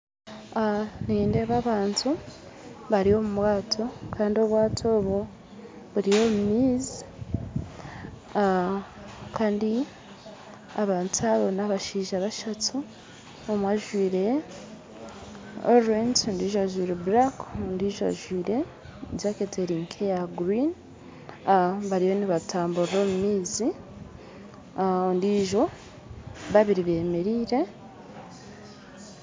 Ah nindeeba abantu bari omubwato kandi obwato obwo buri omu maizi ah Kandi abantu abo n'abashaija bashatu omwe ajwaire orange ondijo ajwaire black ondijo ajwaire jaketi erinka eya green ah bariyo nibatamburra omu maizi ah ondijo babiri bemereire.